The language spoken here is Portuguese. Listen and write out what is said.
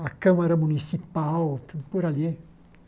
a Câmara Municipal, tudo por ali.